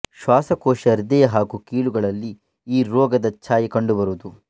ಶ್ವಾಸಕೋಶ ಹೃದಯ ಹಾಗೂ ಕೀಲುಗಳಲ್ಲಿ ಈ ರೋಗದ ಛಾಯೆ ಕಂಡುಬರುವುದು